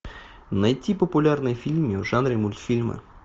найти популярные фильмы в жанре мультфильмы